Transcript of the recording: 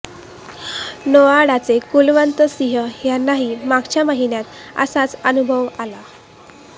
नोएडाचे कुलवंत सिंह यांनाही मागच्या महिन्यात असाच अनुभव आला